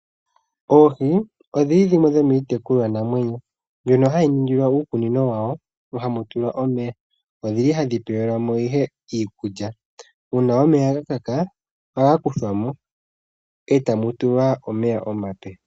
Oohi odho dhimwe dhomii tekulwanamwenyo mbyono hayi ningilwa uukunino wawo hamu tulwa omeya. Ohadhi pelwa mo iikulya. Uuna omeya ga kaka ohaka kuthwa mo e tamu tulwa omeya omape.